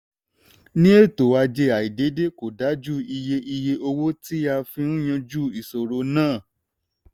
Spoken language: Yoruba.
ní ètò ajé àìdédé kò dájú iye iye owó tí a fi ń yanjú ìṣòro náà.